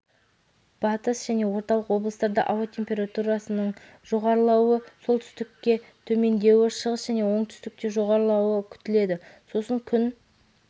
батыс және орталық облыстарда ауа температурасының жоғарылауы солтүстікте төмендеуі шығыс және оңтүстікте жоғарылауы күтіледі сосын күн